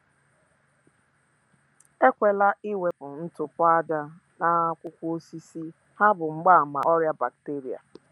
Ekwela iwepu ntụpọ aja n’akwụkwọ osisi, ha bụ mgbaàmà ọrịa bakteria